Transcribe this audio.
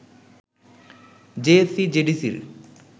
জেএসসি-জেডিসির